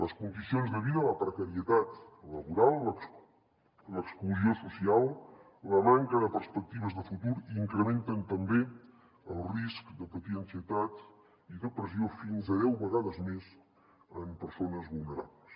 les condicions de vida la precarietat laboral l’exclusió social la manca de perspectives de futur incrementen també el risc de patir ansietat i depressió fins a deu vegades més en persones vulnerables